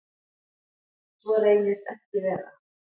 Svo reynist ekki vera.